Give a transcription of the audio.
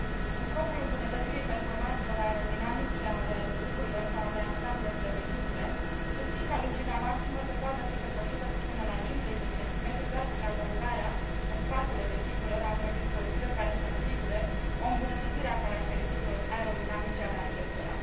În scopul îmbunătățirii performanțelor aerodinamice ale vehiculelor sau ale ansamblelor de vehicule, susțin ca lungimea maximă să poată fi depășită cu până la 50 de cm, doar prin adăugarea în spatele vehiculelor a unor dispozitive care să asigure o îmbunătățire a caracteristicilor aerodinamice ale acestora.